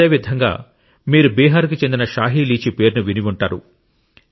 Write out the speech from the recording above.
అదేవిధంగా మీరు బీహార్కు చెందిన షాహి లీచీ పేరును విని ఉంటారు